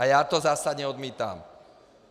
A já to zásadně odmítám.